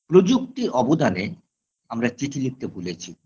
প্রযুক্তি অবদানে আমরা চিঠি লিখতে ভুলেছি